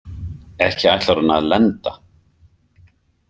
Ekki ætlar hún að lenda?